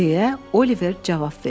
deyə Oliver cavab verdi.